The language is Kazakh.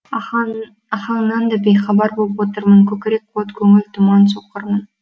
ахаңнан да бейхабар боп отырмын көкірек от көңіл тұман соқырмын